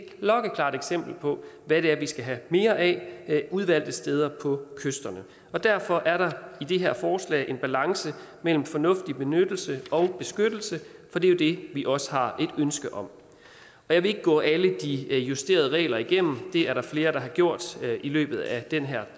klokkeklart eksempel på hvad vi skal have mere af ved udvalgte steder på kysterne derfor er der i det her forslag en balance mellem fornuftig benyttelse og beskyttelse for det er det vi også har et ønske om jeg vil ikke gå alle de justerede regler igennem det er der flere der har gjort i løbet af den her